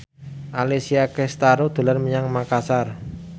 Alessia Cestaro dolan menyang Makasar